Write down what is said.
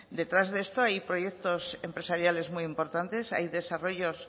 detrás de esto hay proyectos empresariales muy importantes hay desarrollos